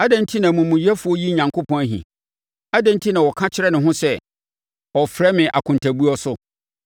Adɛn enti na omumuyɛfoɔ yi Onyankopɔn ahi? Adɛn enti na ɔka kyerɛ ne ho sɛ, “Ɔremfrɛ me akontabuo so?”